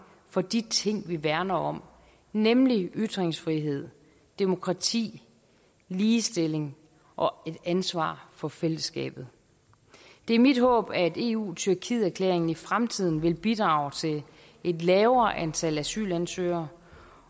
på de ting vi værner om nemlig ytringsfrihed demokrati ligestilling og ansvar for fællesskabet det er mit håb at eu tyrkiet erklæringen i fremtiden vil bidrage til et lavere antal asylansøgere